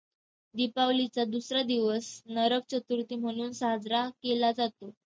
दिपावलीचा दुसरा दिवस नरकचतुर्थी म्हणून साजरा केला जातो.